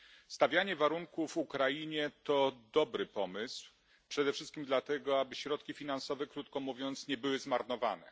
Stawianie warunków Ukrainie to dobry pomysł, przede wszystkim dlatego, aby środki finansowe krótko mówiąc nie były zmarnowane.